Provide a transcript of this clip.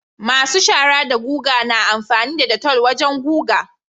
masu shaara da guga na amfani da detol wajan guga